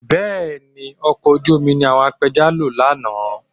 Bẹ́ẹ̀ ni, ọkọ̀ ojú omi ni àwọn apẹja lò lánàá